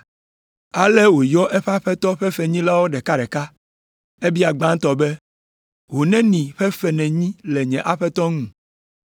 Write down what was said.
“Ale wòyɔ eƒe aƒetɔ ƒe fenyilawo ɖekaɖeka. Ebia gbãtɔ be, ‘Ho neni ƒe fe nènyi le nye aƒetɔ ŋu?’